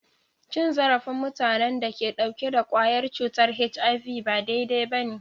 Cin zarafin mutanen da ke dauke da kwayar cutar HIV ba daidai ba ne.